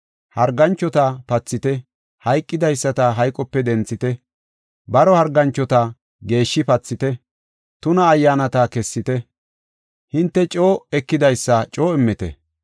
Harganchota pathite, hayqidaysata hayqope denthite, baro harganchota geeshshi pathite, tuna ayyaanata kessite. Hinte coo ekidaysa coo immite.